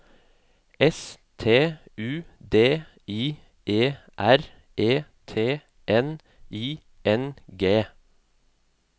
S T U D I E R E T N I N G